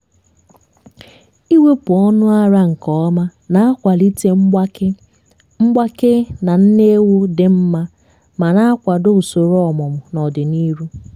ịwepụ ọnụ ara nke ọma na-akwalite mgbake mgbake na nne ewu dị mma ma na-akwado usoro ọmụmụ n'ọdịnihu.